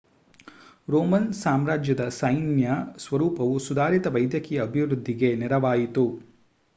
Roman ಸಾಮ್ರಾಜ್ಯದ ಸೈನ್ಯ ಸ್ವರೂಪವು ಸುಧಾರಿತ ವೈದ್ಯಕೀಯ ಅಭಿವೃದ್ಧಿಗೆ ನೆರವಾಯಿತು